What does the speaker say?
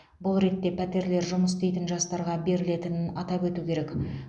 бұл ретте пәтерлер жұмыс істейтін жастарға берілетінін атап өту керек